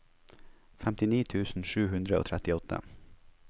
femtini tusen sju hundre og trettiåtte